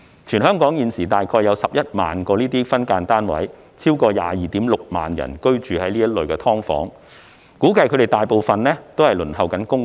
全港現時大約有11萬個分間單位，超過 226,000 人居於此類"劏房"，估計他們大部分正在輪候公屋。